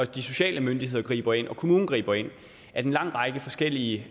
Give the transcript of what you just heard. de sociale myndigheder griber ind og at kommunen griber ind at en lang række forskellige